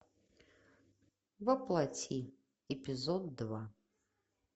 во плоти эпизод два